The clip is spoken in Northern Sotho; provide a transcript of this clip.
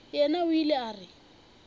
yena o ile a re